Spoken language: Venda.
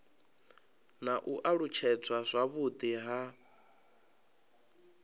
na u alutshedzwa zwavhudi ha